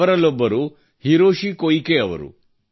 ಅವರಲ್ಲೊಬ್ಬರು Hiroshi Koike ಅವರು